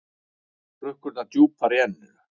Hrukkurnar djúpar í enninu.